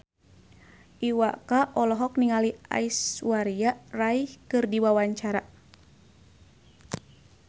Iwa K olohok ningali Aishwarya Rai keur diwawancara